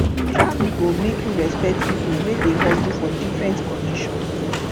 travel go make you respect people wey dey hustle for different condition